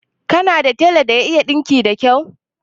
Kana da tela da ya iya ɗinki da kau?